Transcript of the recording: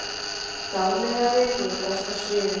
Dáleiðari rotaðist á sviði